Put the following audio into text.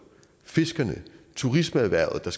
fiskerne turismeerhvervet der